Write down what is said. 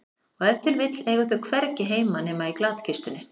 Og ef til vill eiga þau hvergi heima nema í glatkistunni.